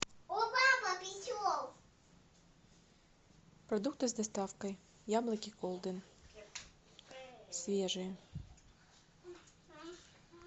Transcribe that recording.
продукты с доставкой яблоки голден свежие